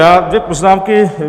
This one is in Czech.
Já dvě poznámky.